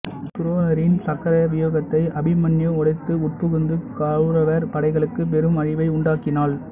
துரோணரின் சக்கர வியூகத்தை அபிமன்யு உடைத்து உட்புகுந்து கௌரவர் படைகளுக்குப் பெரும் அழிவை உண்டாக்கினான்